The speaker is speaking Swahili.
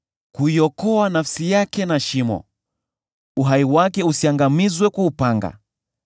kuiokoa nafsi yake na shimo, uhai wake usiangamizwe kwa upanga.